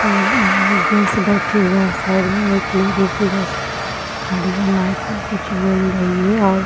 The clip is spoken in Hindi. और सब बैठे हुए हैं साइड में एक लेडीज इधर साइड में खड़ी है माइक में कुछ बोल रही है और --